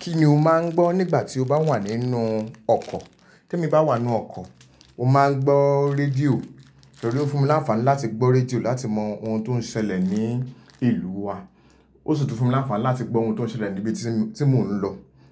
Kí ni o máa ń gbọ́ nígbà tí o bá wà nínú ọkọ̀? Kẹ́mí bá wà nínú ọkọ̀, mo máa ń gbọ́ rédíò torí ó fún mi láǹfàní láti gbọ́ rédíò láti mọ ohun tó ń ṣẹlẹ̀ ní ìlú wa. Ó sì tún fún mi láǹfàní láti gbọ́ ohun tó ń ṣẹlẹ̀ níbi tí mo ń lọ.